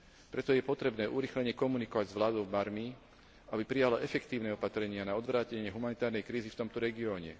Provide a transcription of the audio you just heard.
Preto je potrebné urýchlene komunikovať s vládou Barmy, aby prijala efektívne opatrenia na odvrátenie humanitárnej krízy v tomto regióne.